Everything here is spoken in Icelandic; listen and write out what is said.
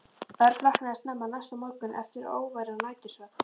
Örn vaknaði snemma næsta morgun eftir óværan nætursvefn.